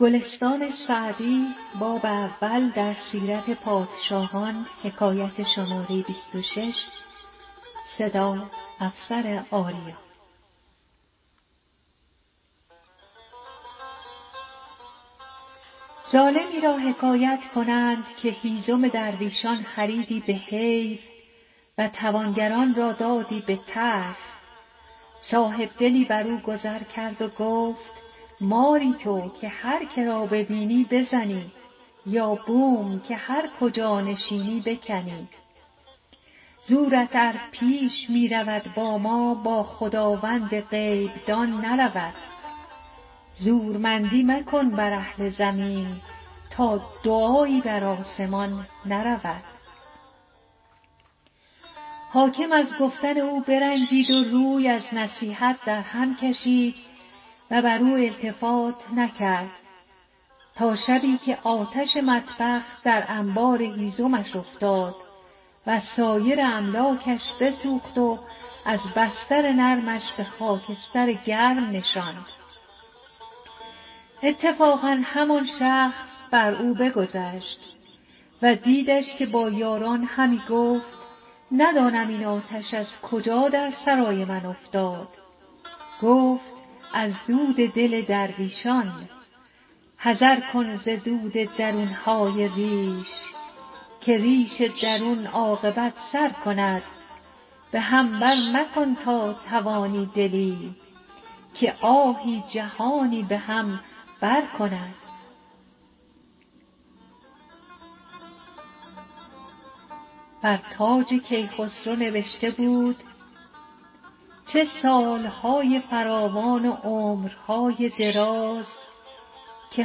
ظالمی را حکایت کنند که هیزم درویشان خریدی به حیف و توانگران را دادی به طرح صاحبدلی بر او گذر کرد و گفت ماری تو که هر که را ببینی بزنی یا بوم که هر کجا نشینی بکنی زورت ار پیش می رود با ما با خداوند غیب دان نرود زورمندی مکن بر اهل زمین تا دعایی بر آسمان نرود حاکم از گفتن او برنجید و روی از نصیحت او در هم کشید و بر او التفات نکرد تا شبی که آتش مطبخ در انبار هیزمش افتاد و سایر املاکش بسوخت وز بستر نرمش به خاکستر گرم نشاند اتفاقا همان شخص بر او بگذشت و دیدش که با یاران همی گفت ندانم این آتش از کجا در سرای من افتاد گفت از دل درویشان حذر کن ز درد درون های ریش که ریش درون عاقبت سر کند به هم بر مکن تا توانی دلی که آهی جهانی به هم بر کند بر تاج کیخسرو نبشته بود چه سال های فراوان و عمر های دراز که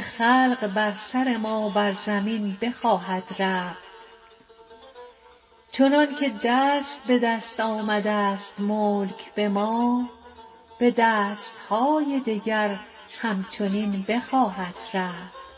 خلق بر سر ما بر زمین بخواهد رفت چنان که دست به دست آمده ست ملک به ما به دست های دگر هم چنین بخواهد رفت